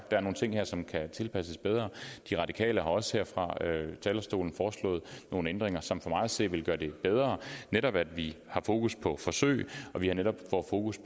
der er nogle ting her som kan tilpasses bedre de radikale har også her fra talerstolen foreslået nogle ændringer som for mig at se ville gøre det bedre netop at vi har fokus på forsøg og vi netop får fokus